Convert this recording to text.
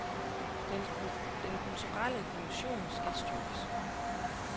Den kulturelle dimension skal styrkes.